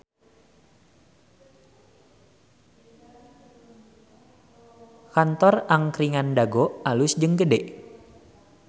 Kantor Angkringan Dago alus jeung gede